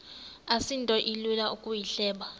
asinto ilula ukuyihleba